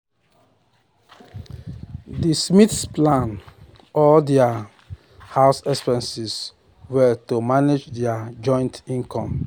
the smiths plan all their um house expenses well to manage their joint income.